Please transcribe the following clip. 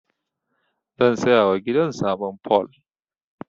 Zan sayawa gidan sabon fol.